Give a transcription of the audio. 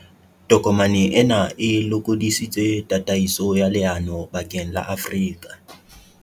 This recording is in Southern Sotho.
Tokomane ena e lokodisitse tataiso ya leano bakeng la Afrika.